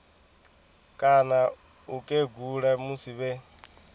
kana u kegula musi vhe